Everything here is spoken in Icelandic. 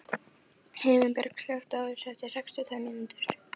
Himinbjörg, slökktu á þessu eftir sextíu og tvær mínútur.